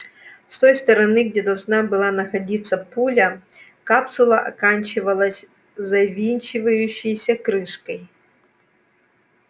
с той стороны где должна была находиться пуля капсула оканчивалась завинчивающейся крышкой